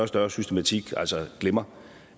større systematik glemmer